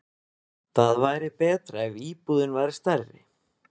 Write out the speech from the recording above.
Það væri betra ef íbúðin væri stærri.